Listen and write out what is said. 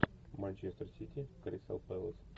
манчестер сити кристал пэлас